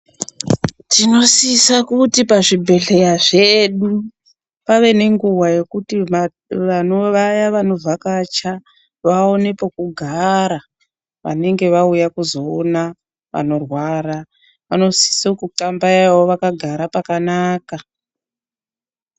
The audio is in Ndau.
Tinosisa kuti pazvibhedhleya zvedu pave nenguva yekuti vaya vanovhakacha vaone pekugara vanenge vauya kuzoona vanorwara vanosise kuthambayawo vakagara pakanaka.